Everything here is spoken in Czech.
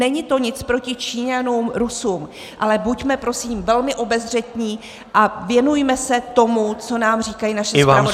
Není to nic proti Číňanům, Rusům, ale buďme prosím velmi obezřetní a věnujme se tomu, co nám říkají naše zpravodajské služby -